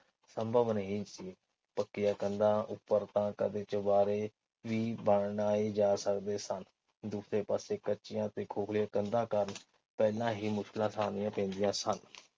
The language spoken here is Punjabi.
ਸੰਭਵ ਨਹੀਂ ਸੀ। ਪੱਕੀਆਂ ਕੰਧਾਂ ਉੱਪਰ ਤਾ ਕਦੇ ਚੁਬਾਰੇ ਵੀ ਬਣਾਏ ਜਾ ਸਕਦੇ ਸਨ। ਦੂਜੇ ਪਾਸੇ ਕੱਚੀਆਂ ਤੇ ਖੋਖਲੇ ਕੰਧਾਂ ਕਾਰਨ ਪਹਿਲਾ ਹੀ ਮੁਸਲਾ ਪੈਂਦੀਆਂ ਸਨ।